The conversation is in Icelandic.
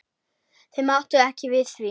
Þau máttu ekki við því.